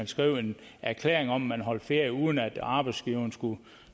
skrive en erklæring om at man holdt ferie uden at arbejdsgiveren skulle